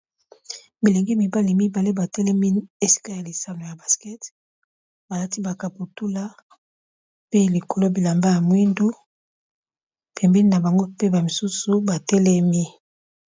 Bilenge mibali mibale ba telemi esika ya lisano ya basket, balati ba kaputula pe likolo bilamba ya mwindu pembeni na bango pe ba misusu ba telemi.